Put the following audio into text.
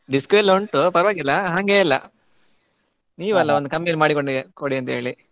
Disco ಎಲ್ಲ ಉಂಟು ಪರ್ವಾಗಿಲ್ಲ ಹಾಗೇನಿಲ್ಲ. ನೀವಲ್ಲ ಒಂದು ಕಮ್ಮಿಯಲ್ಲಿ ಮಾಡಿಕೊಡಿ ಅಂತ ಹೇಳಿ.